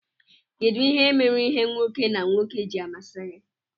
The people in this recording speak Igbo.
kedu ihe mere ìhè nwoke na nwoke ji amasi gi?